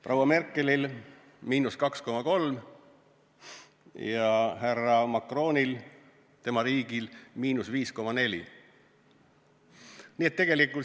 Proua Merkeli riigil –2,3% ja härra Macroni riigil –5,4%.